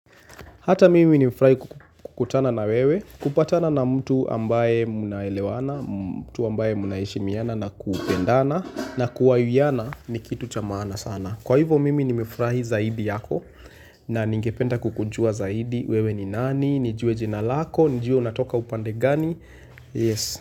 Hata mimi nimefurahi kukutana na wewe, kupatana na mtu ambaye mnaelewana, mtu ambaye mnaheshimiana na kupendana na kuwayuyiyana ni kitu cha maana sana. Kwa hivyo mimi nimefurahi zaidi yako na ningependa kukujua zaidi, wewe ni nani, nijue jina lako, nijue unatoka upande gani. Yes.